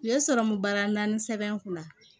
U ye sɔrɔmu bara naani sɛbɛn n kun na